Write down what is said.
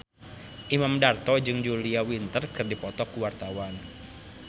Imam Darto jeung Julia Winter keur dipoto ku wartawan